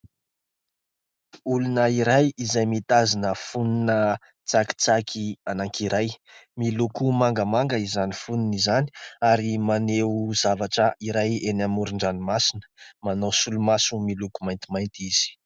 Olona iray izay mitazona fonona tsakitsaky anankiray, miloko mangamanga izany fonony izany ary maneho zavatra iray eny amoron-dranomasina manao solomaso miloko maintimainty izy.